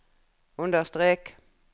understrek